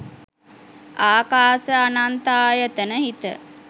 ආකාස අනන්තායතන හිත